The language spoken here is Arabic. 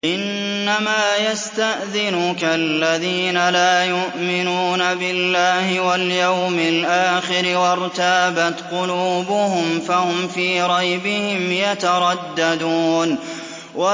إِنَّمَا يَسْتَأْذِنُكَ الَّذِينَ لَا يُؤْمِنُونَ بِاللَّهِ وَالْيَوْمِ الْآخِرِ وَارْتَابَتْ قُلُوبُهُمْ فَهُمْ فِي رَيْبِهِمْ يَتَرَدَّدُونَ